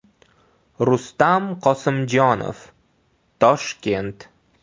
Rustam Qosimjonov: Toshkent.